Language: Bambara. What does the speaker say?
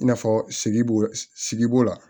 I n'a fɔ sigi bo sigi b'o la